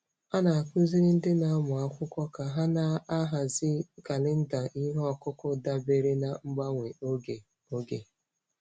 A na-akụziri ndị na-amụ akwụkwọ ka ha na-ahazi kalenda ihe ọkụkụ dabere na mgbanwe oge. oge.